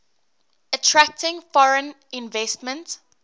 attracting foreign investment